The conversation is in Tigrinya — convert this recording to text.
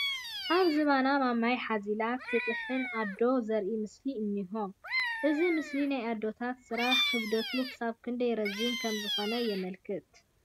ኣብ ዝባና ማማይ ሓዚላ ትጥሕን ኣዶ ዘርእይ ምስሊ እኒሆ፡፡ እዚ ምስሊ ናይ ኣዶታት ስራሕ ክብደቱ ክሳብ ክንደይ ረዚን ከምዝኾነ የመልክት፡፡